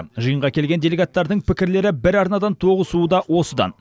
жиынға келген делегаттардың пікірлері бір арнадан тоғысуы да осыдан